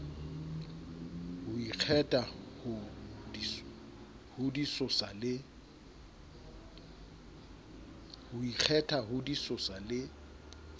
ho ikgetha ho disosa le